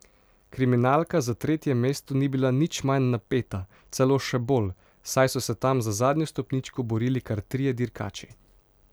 Kriminalka za tretje mesto ni bila nič manj napeta, celo še bolj, saj so se tam za zadnjo stopničko borili kar trije dirkači.